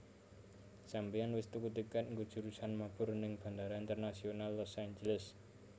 Sampeyan wis tuku tiket nggo jurusan mabur ning Bandara Internasional Los Angeles?